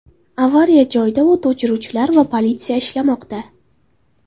Avariya joyida o‘t o‘chiruvchilar va politsiya ishlamoqda.